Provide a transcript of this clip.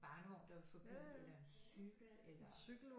Barnevogn der vil forbi eller en cykel eller